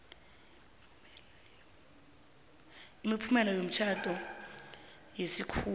imiphumela yomtjhado wesikhuwa